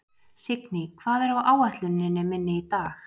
Signý, hvað er á áætluninni minni í dag?